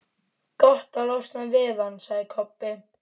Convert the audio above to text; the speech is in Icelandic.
Gott að losna við hann, sagði Kobbi.